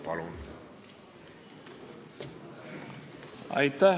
Palun!